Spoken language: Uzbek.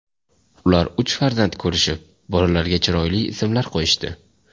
Ular uch farzand ko‘rishib, bolalarga chiroyli ismlar qo‘yishdi.